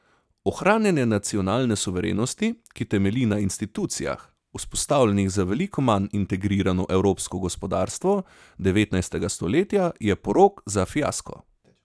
Ohranjanje nacionalne suverenosti, ki temelji na institucijah, vzpostavljenih za veliko manj integrirano evropsko gospodarstvo devetnajstega stoletja, je porok za fiasko.